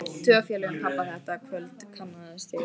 Tvo af félögum pabba þetta kvöld kannaðist ég við.